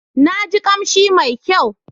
Na ji kamshi mai kyau.